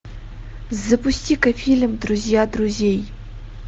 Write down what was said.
запусти ка фильм друзья друзей